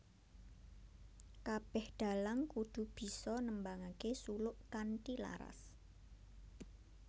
Kabeh dalang kudu bisa nembangake suluk kanthi laras